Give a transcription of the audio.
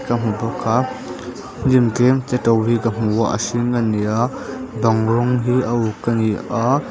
ka hmu bawk a hnim tlem te to hi ka hmu a a hring ani a bang rawng hi a uk ani a.